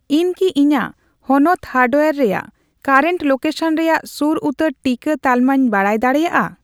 ᱤᱧ ᱠᱤ ᱤᱧᱟᱜ ᱦᱚᱱᱚᱛ ᱦᱟᱨᱰᱣᱭᱟᱨ ᱨᱮᱭᱟᱜ ᱠᱟᱨᱮᱱᱴ ᱞᱳᱠᱮᱥᱚᱱ ᱨᱮᱭᱟᱜ ᱥᱩᱨ ᱩᱛᱟᱹᱨ ᱴᱤᱠᱟᱹ ᱛᱟᱞᱢᱟᱧ ᱵᱟᱰᱟᱭ ᱫᱟᱲᱤᱭᱟᱜᱼᱟ ᱾